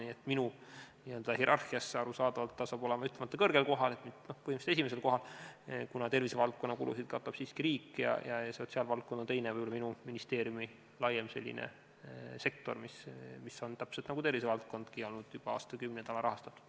Nii et minu n-ö hierarhias on see arusaadavalt ütlemata kõrgel kohal, põhimõtteliselt esimesel kohal, kuna tervisevaldkonna kulusid katab siiski riik ja sotsiaalvaldkond ongi teine või minu ministeeriumi laiem sektor, mis on olnud – täpselt nagu tervisevaldkondki – juba aastakümneid alarahastatud.